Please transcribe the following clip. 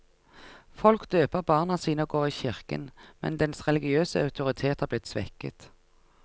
Folk døper barna sine og går i kirken, men dens religiøse autoritet er blitt svekket.